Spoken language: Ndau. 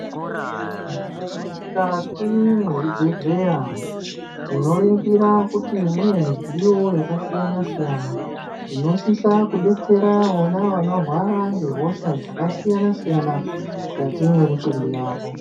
Mumukati muzvibhehlera tinoringira kuti munemudziyo yakasiyana siyana inosisa kudetsera vona vanorwara ngehosha dzakasiyana siyana mukati memutumbi wavo.